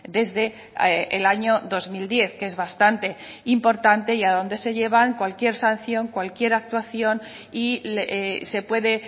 desde el año dos mil diez que es bastante importante y a donde se llevan cualquier sanción cualquier actuación y se puede